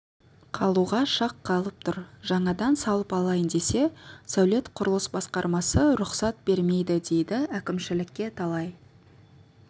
қалуға шақ қалып тұр жаңадан салып алайын десе сәулет-құрылыс басқармасы рұқсат бермейді дейді әкімшілікке талай